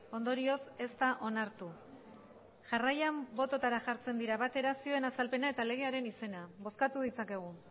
ondorioz ez da onartu jarraian bototara jartzen dira batera zioen azalpena eta legearen izena bozkatu ditzakegu